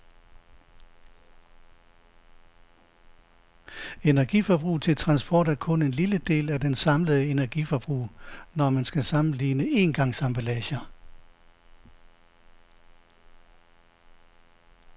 Energiforbruget til transport er kun en lille del af det samlede energiforbrug, når man skal sammenligne engangsemballager.